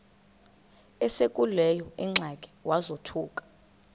esekuleyo ingxaki wazothuka